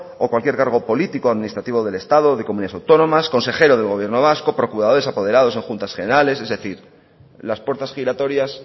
o cualquier cargo político administrativo del estado de comunidades autónomas consejero del gobierno vasco procuradores apoderados en juntas generales es decir las puertas giratorias